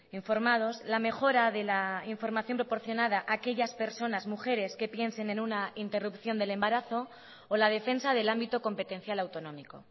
informados la mejora de la información proporcionada a aquellas personas mujeres que piensen en una interrupción del embarazo o la defensa del ámbito competencial autonómico